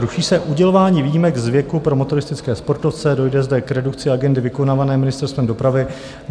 Ruší se udělování výjimek z věku pro motoristické sportovce, dojde zde k redukci agendy vykonávané Ministerstvem dopravy.